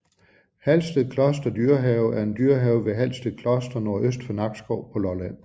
Halsted Kloster Dyrehave er en dyrehave ved Halsted Kloster nordøst for Nakskov på Lolland